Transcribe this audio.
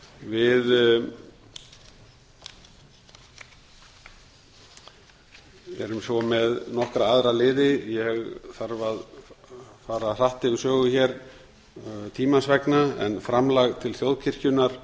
við erum svo með nokkra aðra liði ég þarf að fara hratt yfir sögu tímans vegna en framlag til þjóðkirkjunnar